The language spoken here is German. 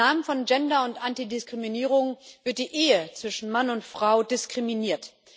Im Namen von Gender und Antidiskriminierung wird die Ehe zwischen Mann und Frau diskriminiert.